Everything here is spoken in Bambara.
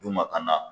D'u ma ka na